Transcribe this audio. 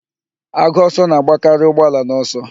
Agụ ọsọ na-agbakarị ụgbọ ala n'ọsọ